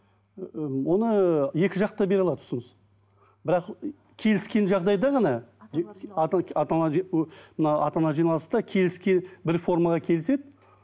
ііі оны екі жақ та бере алады ұсыныс бірақ келіскен жағдайда ғана мына ата аналар жиналыста бір формаға келіседі